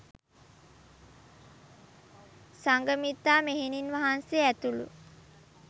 සංඝමිත්තා මෙහෙණින් වහන්සේ ඇතුළු